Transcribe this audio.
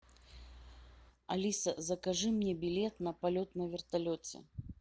алиса закажи мне билет на полет на вертолете